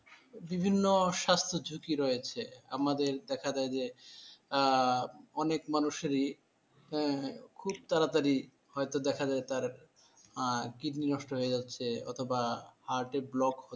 বিভিন্ন স্বাস্থ্য ঝুঁকি রয়েছে আমাদের দেখা যায় যে আহ অনেক মানুষেরই হ্যাঁ? খুব তাড়াতাড়ি হয়তো দেখা যায় তার আহ kidney নষ্ট হয়ে যাচ্ছে অথবা heart এ block